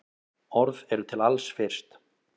Orð eru til alls fyrst.